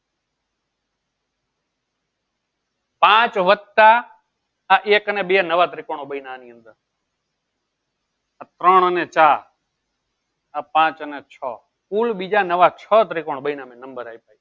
પાંચ વત્તા એક અને બે નવા ત્રીકોણો બન્યા આની અંદર આ ત્રોણ અને ચાર આ પાંચ અને છ કુલ બીજા નવા છ ત્રિકોણ બન્યા મેં નંબર આપ્યા એ.